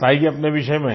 बताइये अपने विषय में